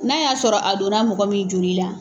N'a y'a sɔrɔ a donna mɔgɔ min joli la.